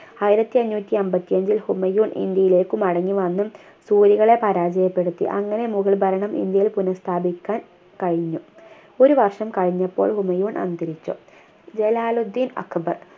ആയിരത്തി അഞ്ഞൂറ്റി അമ്പത്തിയഞ്ചിൽ ഹുമയൂൺ ഇന്ത്യയിലേക്ക് മടങ്ങി വന്നു കളെ പരാജയപ്പെടുത്തി അങ്ങനെ മുഗൾ ഭരണം ഇന്ത്യയിൽ പുനഃസ്ഥാപിക്കാൻ കഴിഞ്ഞു ഒരു വർഷം കഴിഞ്ഞപ്പോൾ ഹുമയൂൺ അന്തരിച്ചു ജലാലുദ്ദീൻ അക്ബർ